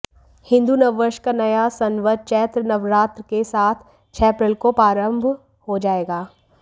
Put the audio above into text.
हिन्दू नववर्ष का नया संवत चैत्र नवरात्र के साथ छह अप्रैल को प्रारंभ हो जाएगा